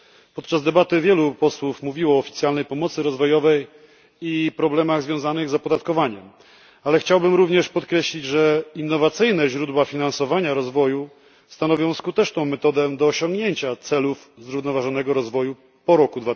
Podczas debaty wielu posłów mówiło o oficjalnej pomocy rozwojowej i problemach związanych z opodatkowaniem, ale chciałbym również podkreślić, że innowacyjne źródła finansowania rozwoju stanowią skuteczną metodę do osiągnięcia celów zrównoważonego rozwoju po roku